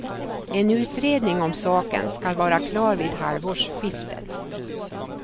En utredning om saken skall vara klar vid halvårsskiftet.